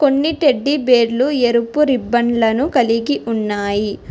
కొన్ని టెడ్డీబేర్లు ఎరుపు రిబ్బన్లను కలిగి ఉన్నాయి.